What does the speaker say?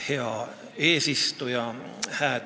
Hea eesistuja!